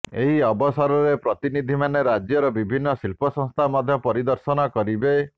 ଏହି ଅବସରରେ ପ୍ରତିନିଧିମାନେ ରାଜ୍ୟର ବିଭିନ୍ନ ଶିଳ୍ପ ସଂସ୍ଥା ମଧ୍ୟ ପରିଦର୍ଶନ କରିବେ